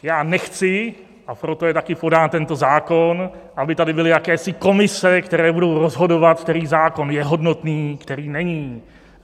Já nechci, a proto je taky podán tento zákon, aby tady byly jakési komise, které budou rozhodovat, který výrok je hodnotný, který není.